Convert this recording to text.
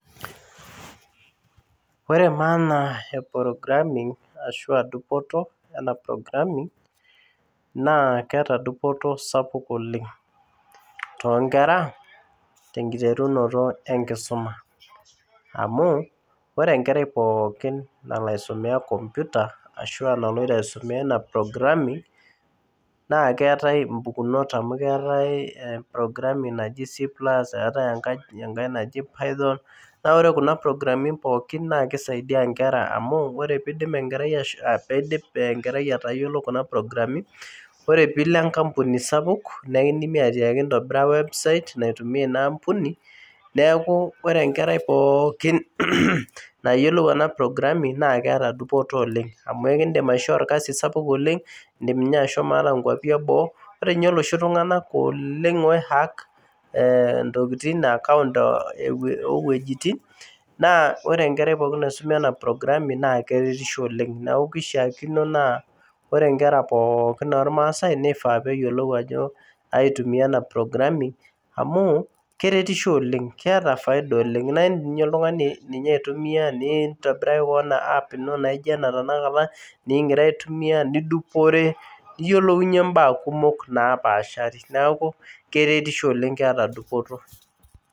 Ore naa ena e programming ashua dupoto programing naa keeta dupoto sapuk oleng toonkera tenkiterunoto enkisuma amu ore ore dupoto ashu enkerai naloito aisumeya programming naaa keetai impukunot amu keetai impukunot eetai enaji C+ eetai enaji pithot naa ore kuna programi pooki naa keisaidia ekerai amu ore peindip enkerai ashomo peindip aatayiolo kuna programi ore piilo. enkampuni sapuk naa ekindi atiaki intobira website naitumia ina ampuni neeku ore enkerai pookin nayiolou ena programming naa keeta dupoto oleng amu ekindim aishoo dupoto orkasii sidai oleng indim ashomo ata inkuapi eboo ore ninye iloshi tung'anak oiihak ooweujitin naa ore. Enkerai pookin naisuma ena prgraming naa keishiakino naa ore inkera pookin ormasaai neifaa peeyiolu aitumiya ena programming amu keretisho oleng keeta faida oleng naa indiim ninye oltung'ani aitumiya nintobiraki kewon app ino naijio ena tenakata nikinkira aitumiya nidupore niyiolou imbaa kumok naapashari neeku keretisho oleng keeta dupoto